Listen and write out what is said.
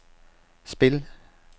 spil